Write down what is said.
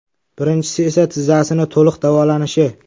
Birinchisi esa tizzasini to‘liq davolanishi.